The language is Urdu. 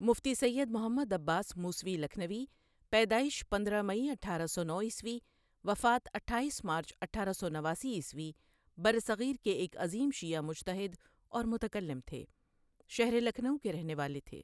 مفتی سید محمد عباس موسوی لکهنوی پیدائش پندرہ مئی اٹھارہ سو نو عیسوی وفات اٹھائیس مارچ اٹھارہ سو نواسی عیسوی برصغیر کے ایک عظیم شیعہ مجتہد اور متکلم تھے، شہر لکھنؤ کے رہنے والے تھےـ